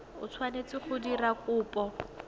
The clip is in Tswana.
o tshwanetseng go dira kopo